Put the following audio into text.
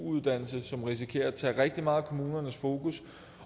uddannelse som risikerer at tage rigtig meget af kommunernes fokus